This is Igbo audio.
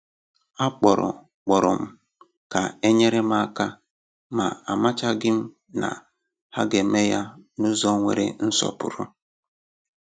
A kpọrọ kpọrọ m ka e nyere m aka, ma amachaghị m ma ha ga-eme ya n’ụzọ nwere nsọpụrụ